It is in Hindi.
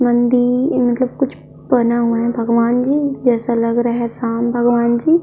मंदिर मतलब कुछ बना हुआ है भगवान जी जैसा लग रहा है राम भगवान जी --